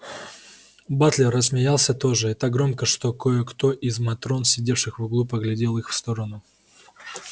батлер рассмеялся тоже и так громко что кое-кто из матрон сидевших в углу поглядел в их сторону